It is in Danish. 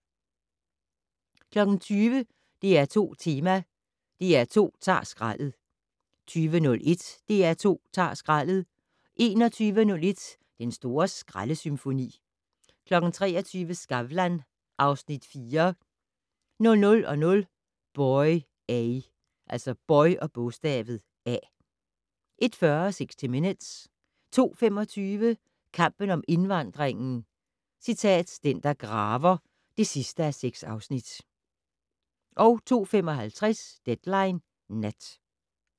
20:00: DR2 Tema: DR2 ta'r skraldet 20:01: DR2 ta'r skraldet 21:01: Den store skraldesymfoni 23:00: Skavlan (Afs. 4) 00:00: Boy A 01:40: 60 Minutes 02:25: Kampen om indvandringen - "Den, der graver" (6:6) 02:55: Deadline Nat